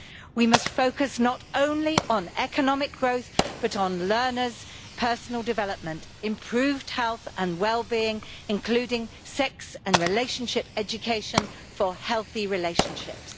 We must focus not only on economic growth, but on learners' personal development, improved health and well being, including sex and relationship education for healthy relationships.